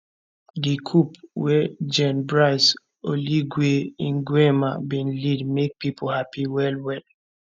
di coup wey gen brice oligui ngeuma bin lead make pipo happy wellwell